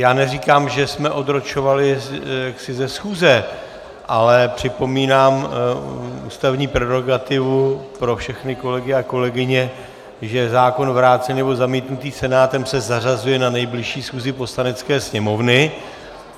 Já neříkám, že jsme odročovali ze schůze, ale připomínám ústavní prerogativu pro všechny kolegy a kolegyně, že zákon vrácený nebo zamítnutý Senátem se zařazuje na nejbližší schůzi Poslanecké sněmovny.